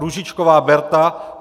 Růžičková Berta